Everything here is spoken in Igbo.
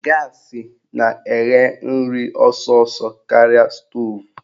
Gaasị na-eghe nri ọsọsọ karịa stoovu